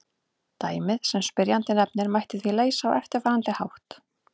Dæmið sem spyrjandi nefnir mætti því leysa á eftirfarandi hátt.